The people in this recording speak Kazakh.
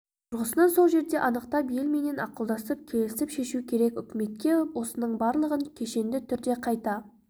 тұрғысынан сол жерде анықтап елменен ақылдасып келісіп шешу керек үкіметке осының барлығын кешенді түрде қайта